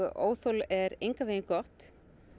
óþol er engan veginn gott